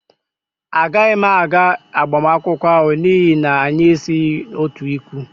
Agaghị m aga agbamakwụkwọ ahụ, n'ihi na anyị esighị otu ikwu